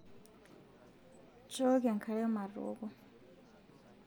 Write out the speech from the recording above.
nchooki enkare matooko